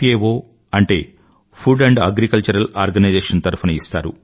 ఓ అంటే food and agriculture organization తరఫున ఇస్తారు